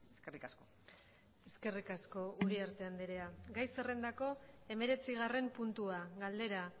eskerrik asko eskerrik asko uriarte andrea gai zerrendako hemeretzigarren puntua galdera